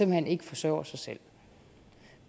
hen ikke forsørger sig selv